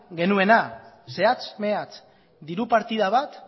genuena zehatz mehatz diru partida bat